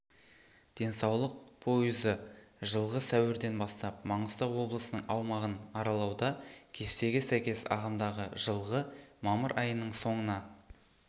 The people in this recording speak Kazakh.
денсаулық пойызы жылғы сәуірден бастап маңғыстау облысының аумағын аралауда кестеге сәйкес ағымдағы жылғы мамыр айының соңына